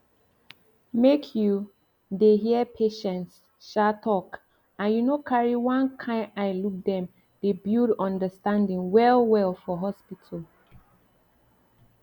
make you dey hear patients um talk and you no carry one kind eye look dem dey build understanding well well for hospital